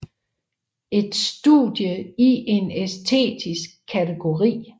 En studie i en æstetisk kategori